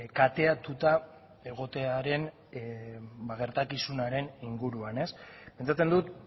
kateatuta egotearen gertakizunaren inguruan pentsatzen dut